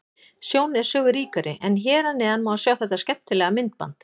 Sjón er sögu ríkari en hér að neðan má sjá þetta skemmtilega myndband.